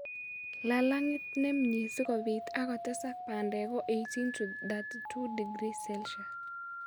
Lalang'it ne myee si kobiit ak kotesak bandek ko 18 to 32 °C.